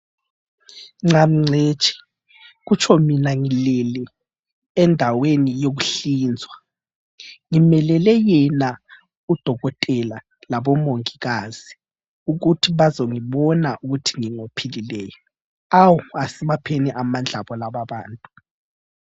Ngcamu ngcitshi kutsho mina ngilele endaweni yokuhlinzwa, ngimelele yena udokotela labo mongikazi ukuthi bazongibona ukuthi ngingophilileyo awu asibapheni amandla abo laba abantu.